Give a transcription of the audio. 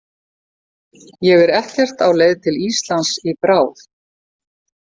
Ég er ekkert á leið til Íslands í bráð.